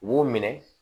Wo minɛ